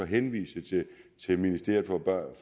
henvise til ministeriet for børn